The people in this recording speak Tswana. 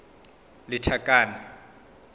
lethakane